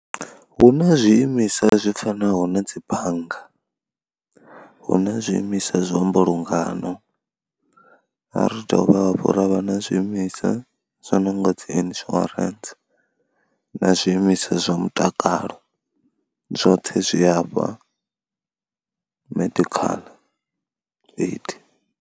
Hu na zwiimiswa zwi fanaho na dzi bannga, hu na zwiimiswa zwa mbulungano, ra dovha hafhu ra vha na zwiimiswa zwa no nga dzi insurance na zwiimiswa zwa mutakalo zwoṱhe zwi afha medical aid.